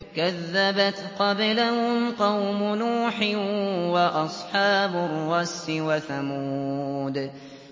كَذَّبَتْ قَبْلَهُمْ قَوْمُ نُوحٍ وَأَصْحَابُ الرَّسِّ وَثَمُودُ